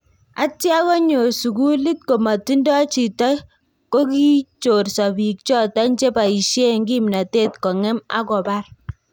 Atya konyoor sukuliit komatindoo chito kokichorsoo biik choton che bayisyeen kimnatet kong'eem ak kobaar